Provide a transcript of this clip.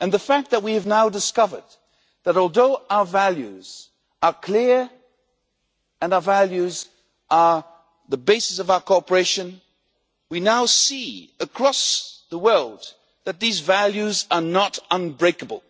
The fact that we have now discovered is that, although our values are clear and are the basis of our cooperation, we now see that across the world these values are not unbreakable